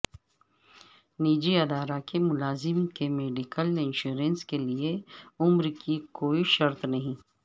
نجی ادارہ کے ملازم کے میڈیکل انشورنس کیلئے عمر کی کوئی شرط نہیں